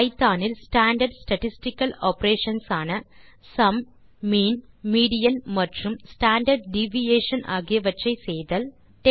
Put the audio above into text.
Python இல் standard statistical operations ஆன sum mean median மற்றும் ஸ்டாண்டார்ட் டிவியேஷன் ஆகியவற்றை செய்தல் 2